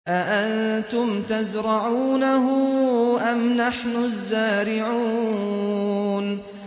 أَأَنتُمْ تَزْرَعُونَهُ أَمْ نَحْنُ الزَّارِعُونَ